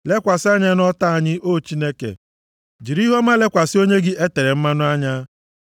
Lekwasị anya nʼọta anyị, O Chineke, jiri ihuọma lekwasị onye gị e tere mmanụ anya.